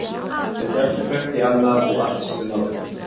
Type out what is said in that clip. Þau héldu hvert í annað og í allt sem þau náðu.